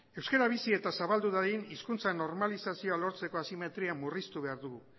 euskera bizi eta zabaldu dadin hizkuntza normalizazioa lortzeko asimetria murriztu behar dugu